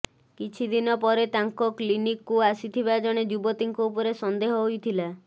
କିଛିଦିନ ପରେ ତାଙ୍କ କ୍ଲିନକ୍କୁ ଆସିଥିବା ଜଣେ ଯୁବତୀଙ୍କ ଉପରେ ସନ୍ଦେହ ହୋଇଥିଲା